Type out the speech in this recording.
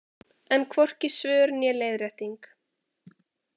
Enn hvorki svör né leiðrétting